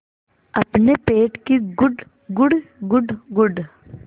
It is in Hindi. अपने पेट की गुड़गुड़ गुड़गुड़